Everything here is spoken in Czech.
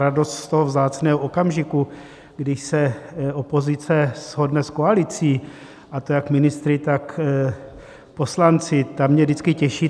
Radost z toho vzácného okamžiku, kdy se opozice shodne s koalicí, a to jak ministry, tak poslanci, ta mě vždycky těší.